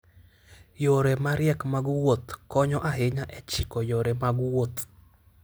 Yore mariek mag wuoth konyo ahinya e chiko yore mag wuoth.